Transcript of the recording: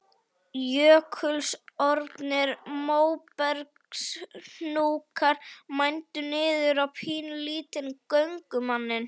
Jökulsorfnir móbergshnúkar mændu niður á pínulítinn göngumanninn.